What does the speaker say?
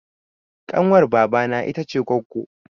Ƙanwar baba na ita ce goggo